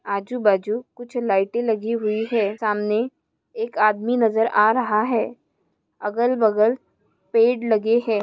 आजू बाजू कुछ लाईटे लगी हुई है सामने एक आदमी नज़र आ रहा है अगल बगल पेड़ लगे है।